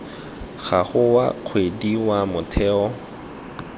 gago wa kgwedi wa motheo